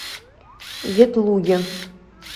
ветлуге